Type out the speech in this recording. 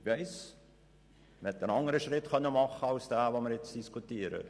Ich weiss, man konnte einen anderen Schritt machen als denjenigen, den wir jetzt diskutieren.